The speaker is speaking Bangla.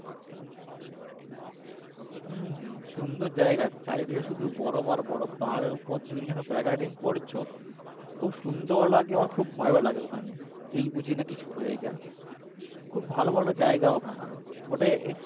হম হম সুন্দর জায়গা চারিদিকে শুধু বরফ আর বরফ পাহাড়ের উপর দিয়ে যখন তুমি paragliding করছো খুব সুন্দর লাগে আবার খুব ভয়ও লাগে ওখানে এই বুঝি না কিছু হয়ে যায় খুব ভালো ভালো জায়গা ওখানে ওটা